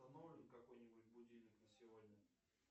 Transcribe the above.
установлен какой нибудь будильник на сегодня